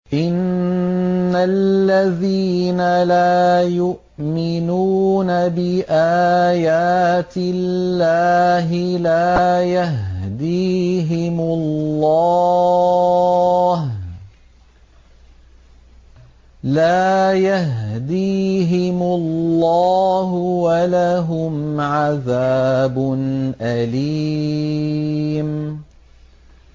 إِنَّ الَّذِينَ لَا يُؤْمِنُونَ بِآيَاتِ اللَّهِ لَا يَهْدِيهِمُ اللَّهُ وَلَهُمْ عَذَابٌ أَلِيمٌ